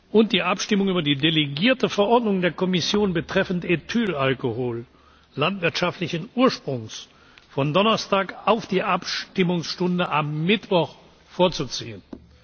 und die Abstimmung über die delegierte Verordnung der Kommission betreffend Ethylalkohol landwirtschaftlichen Ursprungs von Donnerstag auf die Abstimmungsstunde am Mittwoch vorzuziehen.